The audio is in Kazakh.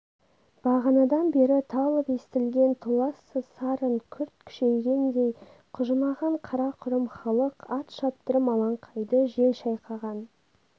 бағанадан бері талып естілген толассыз сарын күрт күшейгендей құжынаған қара-құрым халық ат шаптырым алаңқайды жел шайқаған